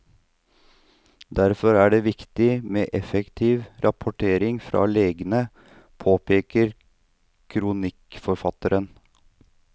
Derfor er det viktig med effektiv rapportering fra legene, påpeker kronikkforfatterne.